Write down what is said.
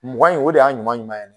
Mugan in o de y'a ɲuman ɲuman yɛrɛ